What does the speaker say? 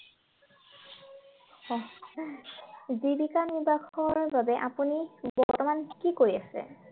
জীৱিকা নিৰ্বাহৰ বাবে আপুনি বৰ্তমান কি কৰি আছে?